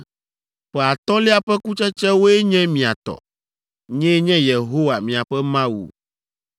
Ƒe atɔ̃lia ƒe kutsetsewoe nye mia tɔ. Nyee nye Yehowa miaƒe Mawu.